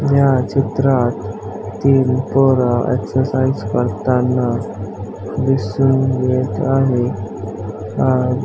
या चित्रात तीन पोर एक्झरसाईझ करताना दिसून येत आहे अ --